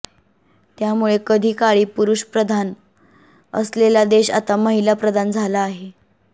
त्यामुळे कधीकाळी पुरुष प्रधान असलेला देश आता महिला प्रधान झाला आहे